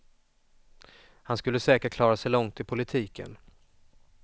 Han skulle säkert klara sig långt i politiken.